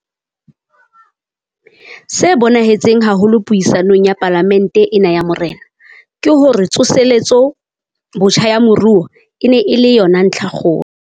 Se bonahetseng haholo puisanong ya Palamente ena ya Marena, ke hore tsoseletso botjha ya moruo e ne e le yona ntlhakgolo.